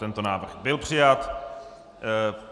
Tento návrh byl přijat.